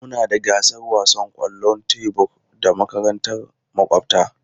Muna da gasar wasan kwallon tebur da makarantar makwabta.